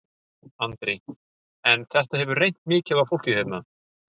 Andri: En þetta hefur reynt mikið á fólkið hérna?